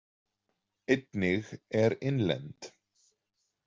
Einnig er innlend.